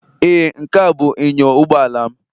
Ee, Nkea bụ inyo ụgbọala m